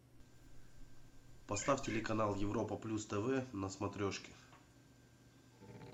поставь телеканал европа плюс тв на смотрешке